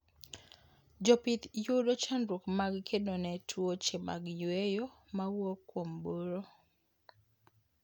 Jopith yudo chandruok mag kedone tuoche mag yweyo mawuok kuom buru